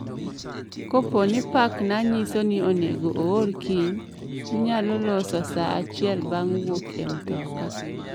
Kapo ni pakna nyiso ni onego oor kiny, inyalo loso sa achiel bang' wuok e mtoka